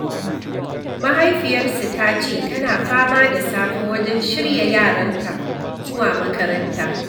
Mahaifiyarsu ta ce tana fama da safe wajen shirya yaranta, zuwa makaranta.